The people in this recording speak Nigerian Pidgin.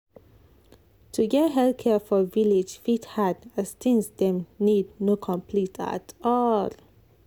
to get health care for village fit hard as things dem need no complete at all.